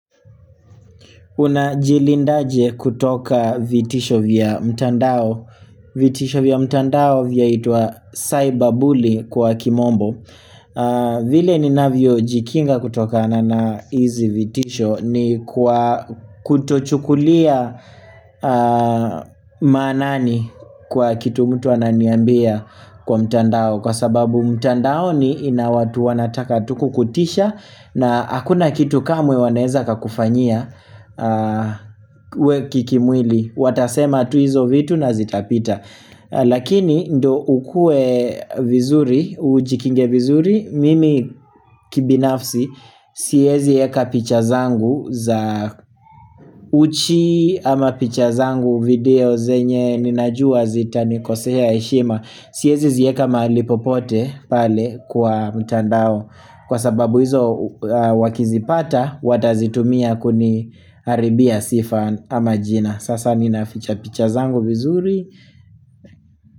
Unajilindaje kutoka vitisho vya mtandao vitisho vya mtandao vyaitwa cyber bully kwa kimombo vile ninavyo jikinga kutokana na hizi vitisho ni kutochukulia manani kwa kitu mtu ananiambia kwa mtandao Kwa sababu mtandao ni inawatu wanataka tukukutisha na hakuna kitu kamwe waneza kakufanyia we kikimwili Watasema tu hizo vitu na zitapita Lakini ndo ukue vizuri Ujikinge vizuri Mimi kibinafsi Siwezi eka picha zangu Uchi ama picha zangu video zenye Ninajua zita nikosea heshima Siwezi zieka mahali popote pale kwa mtandao Kwa sababu hizo wakizi pata Watazitumia kuni haribia sifa ama jina Sasa ninaficha picha zangu vizuri.